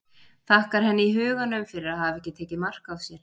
Þakkar henni í huganum fyrir að hafa ekki tekið mark á sér.